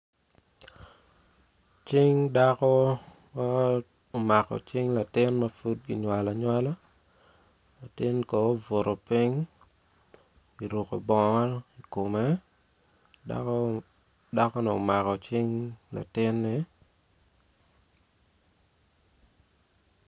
Cing dako ma omako cing latin ma pudkinywalo anywala latin kono obuto piny kuruko bongo i kome dakoni omako cing latinne